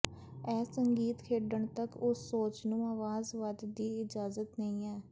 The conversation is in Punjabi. ਇਹ ਸੰਗੀਤ ਖੇਡਣ ਤੱਕ ਉਸ ਸੋਚ ਨੂੰ ਆਵਾਜ਼ ਵੱਧ ਦੀ ਇਜਾਜ਼ਤ ਨਹੀ ਹੈ